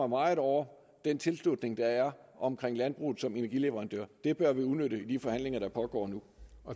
meget over den tilslutning der er til om landbruget som energileverandør det bør vi udnytte i de forhandlinger der pågår nu